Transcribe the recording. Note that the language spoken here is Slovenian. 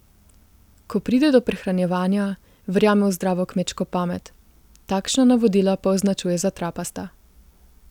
Ko pride do prehranjevanja, verjame v zdravo kmečko pamet, takšna navodila pa označuje za trapasta.